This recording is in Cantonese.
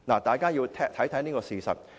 大家要看清楚一個事實。